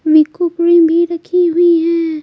मिकुप म भि रखी हुई है।